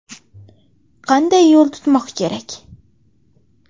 Qanday yo‘l tutmoq kerak?